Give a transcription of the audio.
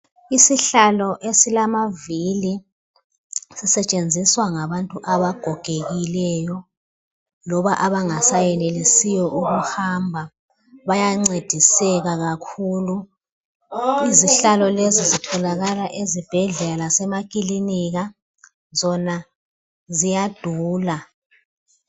isihlalo esilamavili sisetshenziswa ngabantu abagogekileyo loba abangasa yenelesiyo ukuhamba bayancediseka kakhulu izihlalo lezi zitholakala ezibhedlela lasema kilinika zona ziyadula